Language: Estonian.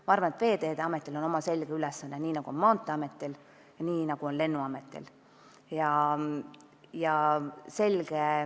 Ma arvan, et Veeteede Ametil on oma selge ülesanne, nii nagu on Maanteeametil ja nii nagu on Lennuametil.